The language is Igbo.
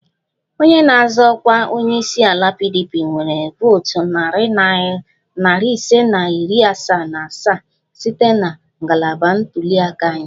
Onye na-azọ ọkwa onye isi ala PDP nwere votu narị ise na iri asaa na asaa site na ngalaba ntuli aka anyị